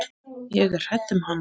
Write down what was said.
Og hún á þig.